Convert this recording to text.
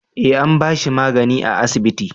eh an bashi magani a asibiti